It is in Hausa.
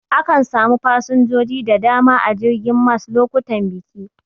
Akan samu fasinjoji da dama a jirgin mas lokutan biki.